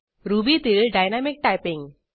रुबीतील dynamic typing